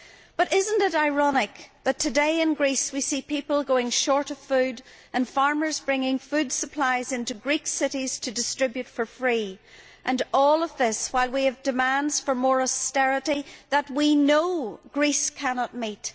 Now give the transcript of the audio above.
But is it not ironic that today in Greece we see people going short of food, and farmers bringing food supplies into Greek cities to distribute for free, while at the same time we have demands for more austerity that we know Greece cannot meet?